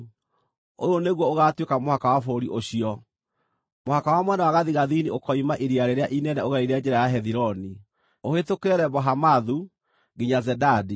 “Ũyũ nĩguo ũgaatuĩka mũhaka wa bũrũri ũcio: Mũhaka wa mwena wa gathigathini ũkoima Iria Rĩrĩa Inene ũgereire njĩra ya Hethiloni, ũhĩtũkĩre Lebo-Hamathu, nginya Zedadi,